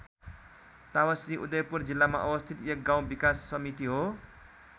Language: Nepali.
तावाश्री उदयपुर जिल्लामा अवस्थित एक गाउँ विकास समिति हो।